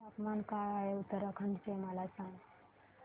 तापमान काय आहे उत्तराखंड चे मला सांगा